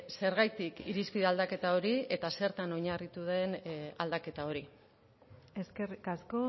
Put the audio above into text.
zergatik irizpide aldaketa hori eta zertan oinarritu den aldaketa hori eskerrik asko